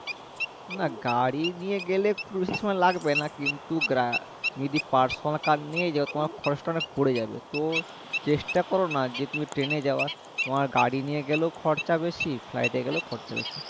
না গাড়ি নিয়ে গেলে খুব বেশি সময় লাগবেনা কিন্তু গাড়ি তুমি যদি personal car নিয়েই যায় তোমার খরজ টা অনেক পরে যাবে তো চেষ্টা করোনা, যে তুমি train এ যাওয়ার তোমার গাড়ি নিয়ে গেলেও খরচা বেশি flight এ গেলেও খরচা বেশি